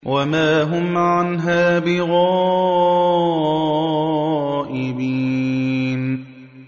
وَمَا هُمْ عَنْهَا بِغَائِبِينَ